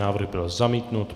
Návrh byl zamítnut.